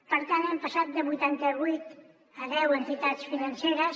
per tant hem passat de vuitanta vuit a deu entitats financeres